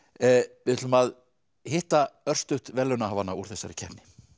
við ætlum að hitta örstutt verðlaunahafana úr þessari keppni